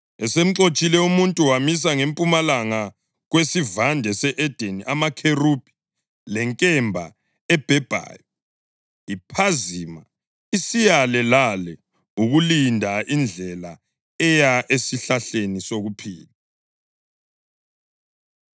Esemxotshile umuntu wamisa ngempumalanga kweSivande se-Edeni amakherubhi lenkemba ebhebhayo, iphazima isiyale lale ukulinda indlela eya esihlahleni sokuphila.